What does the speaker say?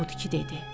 Odur ki, dedi: